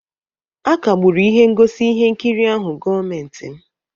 a kagburu ihe ngosi ihe nkiri ahụ gọọmentị m